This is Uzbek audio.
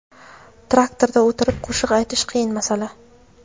Traktorda o‘tirib qo‘shiq aytish qiyin masala.